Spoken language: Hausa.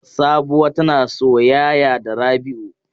Sabuwa tana soyaya da Rabi'u.